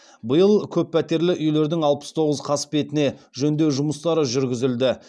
биыл көппәтерлі үйлердің алпыс тоғыз қасбетіне жөндеу жұмыстары жүргізілді